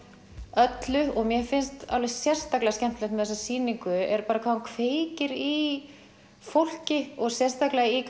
öllu og mér finnst sérstaklega skemmtilegt með þessa sýningu hvað hún kveikir í fólki sérstaklega